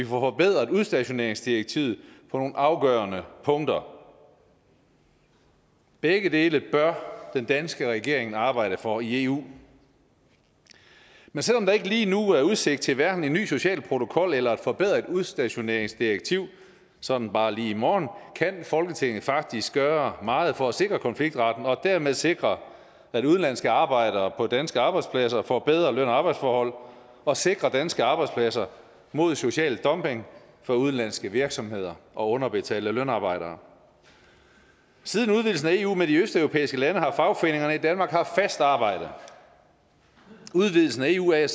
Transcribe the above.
forbedret udstationeringsdirektivet på nogle afgørende punkter begge dele bør den danske regering arbejde for i eu men selv om der ikke lige nu er udsigt til en ny social protokol eller et forbedret udstationeringsdirektiv sådan bare lige i morgen kan folketinget faktisk gøre meget for at sikre konfliktretten og dermed sikre at udenlandske arbejdere på danske arbejdspladser får bedre løn og arbejdsforhold og sikre danske arbejdspladser mod social dumping fra udenlandske virksomheder og underbetalte lønarbejdere siden udvidelsen af eu med de østeuropæiske lande har fagforeningerne i danmark haft fast arbejde udvidelsen af eu er jeg